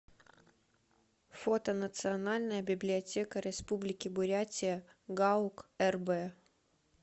фото национальная библиотека республики бурятия гаук рб